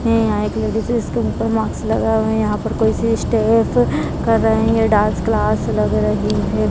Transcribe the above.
हैं यहाँ एक लेडीज है जिसके मुँह पर मास्क लगा हुआ है यहाँ पर कोई सी स्टेफ कर रहे हैं ये डांस क्लास लग रही है।